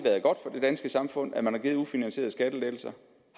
danske samfund at man har givet ufinansierede skattelettelser